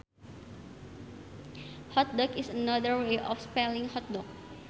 Hotdog is another way of spelling hot dog